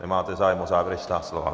Máte zájem o závěrečná slova?